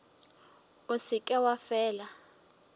o se ke wa fela